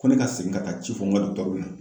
Ko ne ka segin ka taa ci fɔ n ka dɔgitɛruw ɲɛna